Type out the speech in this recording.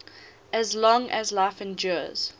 as long as life endures